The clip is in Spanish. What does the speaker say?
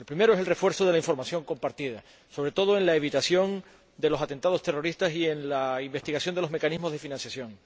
El primero es el refuerzo de la información compartida, sobre todo en los esfuerzos para evitar los atentados terroristas y en la investigación de los mecanismos de financiación.